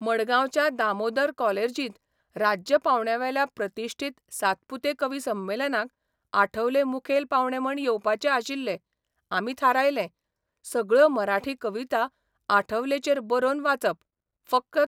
मडगांवच्या दामोदर कॉलेर्जीत राज्य पावंड्यावेल्या प्रतिश्ठीत सातपुते कवी संमेलनाक आठवले मुखेल पावणे म्हूण येवपाचे आशिल्ले आमी थारायलें, सगळ्यो मराठी कविता आठवलेचेर बरोवन वाचप, फकत